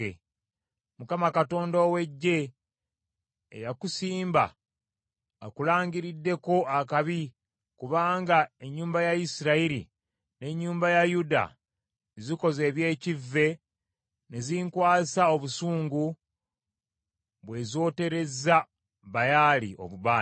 Mukama Katonda ow’Eggye, eyakusimba akulangiriddeko akabi kubanga ennyumba ya Isirayiri n’ennyumba ya Yuda zikoze eby’ekivve ne zinkwasa obusungu bwe zooterezza Baali obubaane.